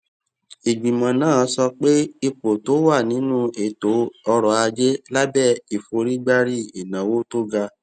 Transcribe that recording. ìgbìmọ náà sọ pé ipò tó wà nínú ètò ọrọ ajé lábé ìforígbárí ìnáwó tó ga